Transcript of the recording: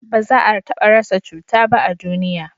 ba za a taba rasa cuta ba a duniya